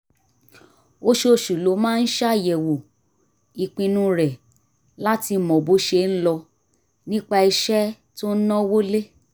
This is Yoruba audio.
oṣooṣù ló máa ń ṣàyẹ̀wò ìpinnu rẹ̀ láti mọ bó ṣe ń lọ nípa iṣẹ́ tó ń náwó lé